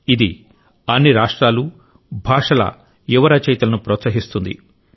ఇది అన్ని రాష్ట్రాలు భాషల యువ రచయితలను ప్రోత్సహిస్తుంది